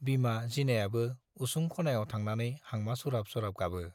बिमा जिनायाबो उसुं खनायाव थांनानै हांमा सुरहाब सुरहाब गाबो।